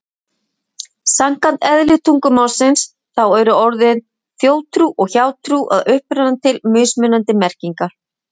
Samkvæmt eðli tungumálsins, þá eru orðin þjóðtrú og hjátrú að uppruna til mismunandi merkingar.